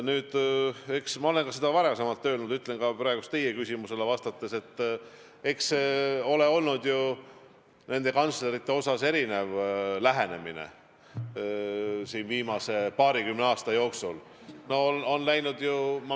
Nüüd, eks ma olen seda ka varem öelnud ja ütlen ka praegu teie küsimusele vastates, et kantslerite osas on viimase paarikümne aasta jooksul olnud erinev lähenemine.